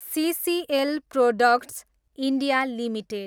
सिसिएल products, India, limited